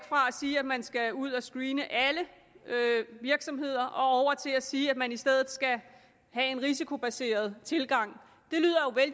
sige at man skal ud at screene alle virksomheder og til at sige at man i stedet skal have en risikobaseret tilgang